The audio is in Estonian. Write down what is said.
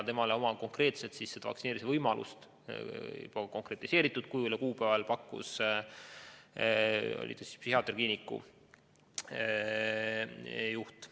Talle pakkus konkreetset vaktsineerimise võimalust ja kuupäeva psühhiaatriakliiniku juht.